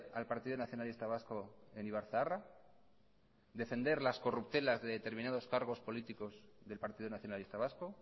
al partido nacionalista vasco en ibarzaharra defender las corruptelas de determinados cargos políticos del partido nacionalista vasco